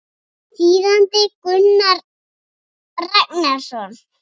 Þýðandi Gunnar Ragnarsson.